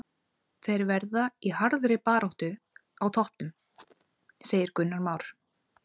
Þeir verða í harðri baráttu á toppnum, segir Gunnar Már.